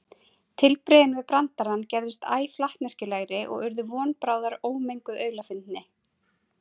Tilbrigðin við brandarann gerðust æ flatneskjulegri og urðu von bráðar ómenguð aulafyndni.